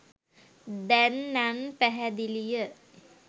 දැන් නන් පැහැදිලිය